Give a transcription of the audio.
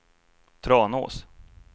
Tranås